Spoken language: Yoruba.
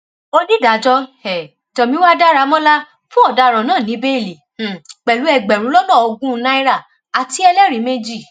onídàájọ um tomiwa daramọlá fún ọdaràn náà ní bẹẹlí um pẹlú ẹgbẹrún lọnà ogún náírà àti ẹlẹrìí méjì